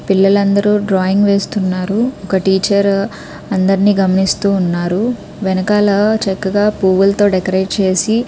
పిల్లలు అందరు డ్రాయింగ్ వేస్తున్నారు ఒక టీచర్ అందర్నీ గమనిస్తూ ఉన్నారు. వెనకాల పూవులు తో డెకరేట్ చేసి --